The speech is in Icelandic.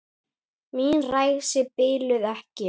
Mín ræsi biluðu ekki.